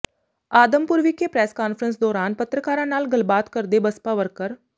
ਆਦਮਪੁਰ ਵਿਖੇ press conference ਦੌਰਾਨ ਪੱਤਰਕਾਰਾਂ ਨਾਲ ਗੱਲਬਾਤ ਕਰਦੇ ਬਸਪਾ ਵਰਕਰ